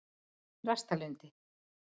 Þrastarlundi